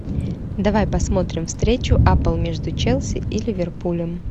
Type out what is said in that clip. давай посмотрим встречу апл между челси и ливерпулем